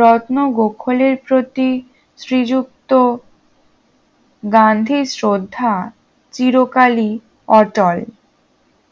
রত্ন গোখলের প্রতি শ্রীযুক্ত গান্ধীর শ্রদ্ধা চিরকালই অটল